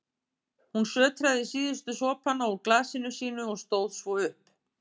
Hún sötraði síðustu sopana úr glasinu sínu og stóð svo upp.